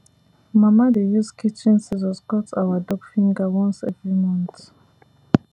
mama dey use kitchen scissors cut our dog finger once every month